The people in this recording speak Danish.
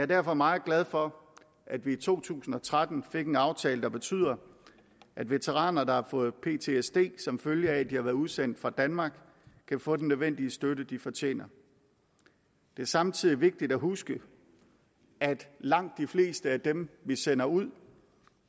derfor meget glad for at vi to tusind og tretten fik en aftale der betyder at veteraner der har fået ptsd som følge af at de har været udsendt for danmark kan få den nødvendige støtte de fortjener det er samtidig vigtigt at huske at langt de fleste af dem vi sender ud